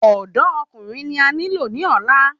Ọ̀dọ́ Ọkùnrin ni a nilo ni ọ̀la